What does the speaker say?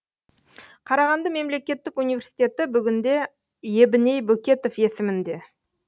қарағанды мемлекеттік университеті бүгінде ебіней бөкетов есімінде